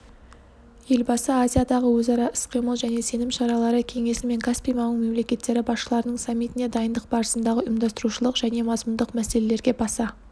елбасы азиядағы өзара іс-қимыл және сенім шаралары кеңесі мен каспий маңы мемлекеттері басшыларының саммитіне дайындық барысындағы ұйымдастырушылық және мазмұндық мәселелерге баса